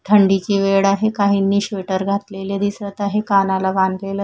थंडीची वेळ आहे काहींनी श्वेटर घातलेले दिसत आहे कानाला बांधलेलं.